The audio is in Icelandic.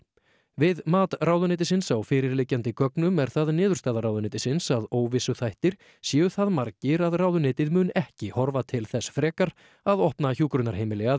við mat ráðuneytisins á fyrirliggjandi gögnum er það niðurstaða ráðuneytisins að óvissuþættir séu það margir að ráðuneytið mun ekki horfa til þess frekar að opna hjúkrunarheimili að